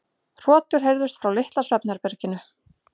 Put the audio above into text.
Hrotur heyrðust frá litla svefnherberginu.